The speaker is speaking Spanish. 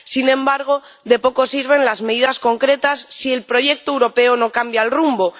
Sin embargo, de poco sirven las medidas concretas si el proyecto europeo no cambia el rumbo.